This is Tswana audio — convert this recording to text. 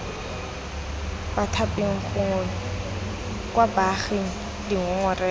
bathaping gongwe kwa baaging dingongorego